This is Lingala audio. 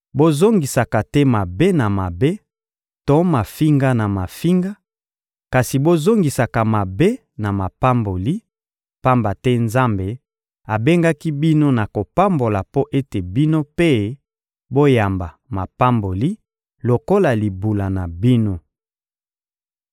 Bozongisaka te mabe na mabe to mafinga na mafinga, kasi bozongisaka mabe na mapamboli; pamba te Nzambe abengaki bino na kopambola mpo ete bino mpe boyamba mapamboli lokola libula na bino.